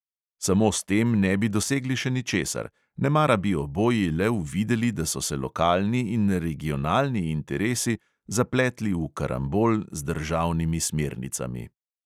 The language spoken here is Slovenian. Samo s tem ne bi dosegli še ničesar, nemara bi oboji le uvideli, da so se lokalni in regionalni interesi zapletli v karambol z državnimi smernicami.